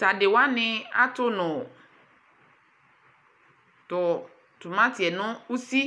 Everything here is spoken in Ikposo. tu adi wani atʋnʋ tʋ tomatiɛ nʋ ʋsi